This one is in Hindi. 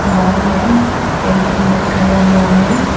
वॉल में पेंटिंग लटकाया हुआ है।